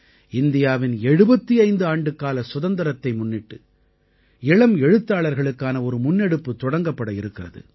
இந்தியாவின் 75 ஆண்டுக்கால சுதந்திரத்தை முன்னிட்டு இளம் எழுத்தாளர்களுக்கான ஒரு முன்னெடுப்பு தொடங்கப்பட இருக்கிறது